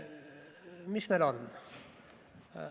Mis meil on?